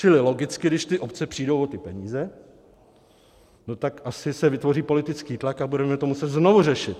Čili logicky, když ty obce přijdou o ty peníze, no tak asi se vytvoří politický tlak a budeme to muset znovu řešit.